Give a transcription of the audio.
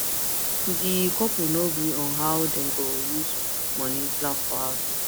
di couple no gree on how dem go use money plan for house